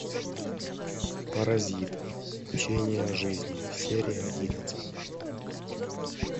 паразит учение о жизни серия одиннадцать